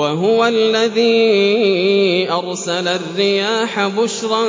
وَهُوَ الَّذِي أَرْسَلَ الرِّيَاحَ بُشْرًا